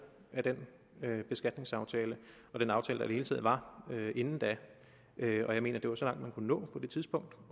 af den beskatningsaftale og den aftale det hele taget var inden da og jeg mener det var så langt man kunne nå på det tidspunkt